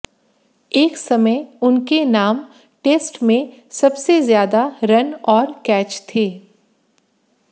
एक समय उनके नाम टेस्ट में सबसे ज्यादा रन और कैच थे